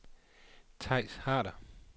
Theis Harder